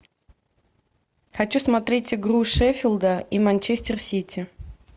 хочу смотреть игру шеффилда и манчестер сити